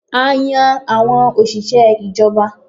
A yan àwọn òṣìṣẹ́ ìjọba